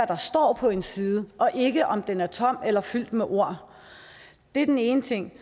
der står på en side og ikke om den er tom eller fyldt med ord det er den ene ting